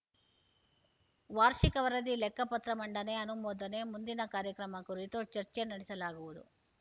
ವಾರ್ಷಿಕ ವರದಿ ಲೆಕ್ಕ ಪತ್ರ ಮಂಡನೆ ಅನುಮೋದನೆ ಮುಂದಿನ ಕಾರ್ಯಕ್ರಮ ಕುರಿತು ಚರ್ಚೆ ನಡೆಸಲಾಗುವುದು